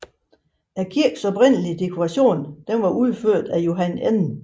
Kirkens oprindelige dekoration var udført af Johan N